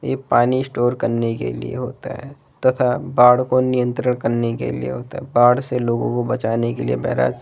ये पानी स्टोर करने के लिए होता है तथा बाढ़ को नियत्रण करने के लिए होता है बाढ़ से लोगो को बचाने के लिए बैराज --